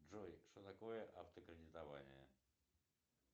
джой что такое автокредитование